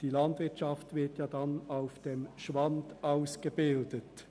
Die landwirtschaftlichen Fachkräfte werden nämlich auf der Schwand ausgebildet.